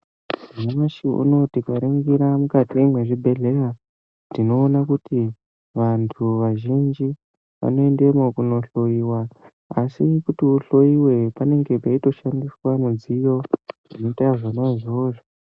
Nyamashi unowu tikaningira mukati mwezvibhedhlera tinoona kuti vantu vazhinji vanoendemwo kundohloiwa, asi kuti uhloiwe, panenge panotoshandiswa midziyo inoita zvona izvozvo.